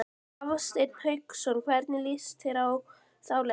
Hafsteinn Hauksson: Hvernig lýst þér á þá leið?